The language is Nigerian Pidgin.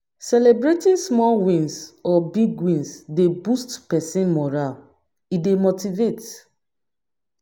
Celebrating small wins or big wins dey boost person moral, e dey motivate